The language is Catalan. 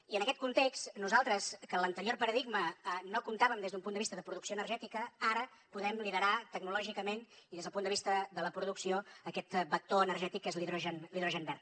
i en aquest context nosaltres que en l’anterior paradigma no comptàvem des d’un punt de vista de producció energètica ara podem liderar tecnològicament i des del punt de vista de la producció aquest vector energètic que és l’hidrogen verd